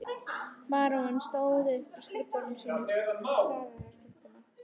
Baróninn stóð upp frá skrifborði sínu og starði á stúlkuna.